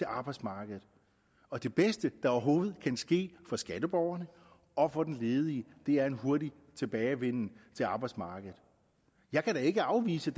arbejdsmarkedet og det bedste der overhovedet kan ske for skatteborgerne og for den ledige er en hurtig tilbagevenden til arbejdsmarkedet jeg kan da ikke afvise